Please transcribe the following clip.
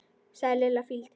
sagði Lilla fýld.